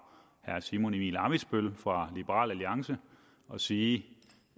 herre simon emil ammitzbøll fra liberal alliance og sige